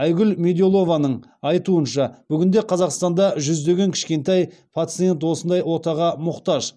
айгүл меделованың айтуынша бүгінде қазақстанда жүздеген кішкентай пациент осындай отаға мұқтаж